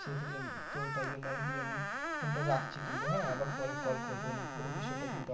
সেহুতু তো তাই জন্য আরকি Phone টা রাখছি কিন্তু হ্যাঁ আবার পরে call করবো নিয়ে পুরো বিষয় তা কিন্তু